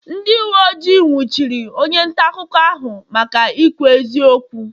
ndị uwe ojii nwụchiri onye nta akụkọ ahụ maka ikwu eziokwu